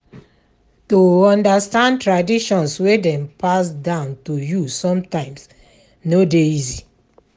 To understand traditions wey Dem pass down to you sometimes no de easy